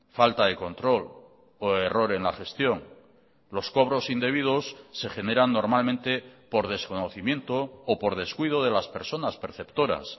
falta de control o error en la gestión los cobros indebidos se generan normalmente por desconocimiento o por descuido de las personas perceptoras